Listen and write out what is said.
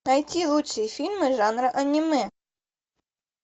найти лучшие фильмы жанра аниме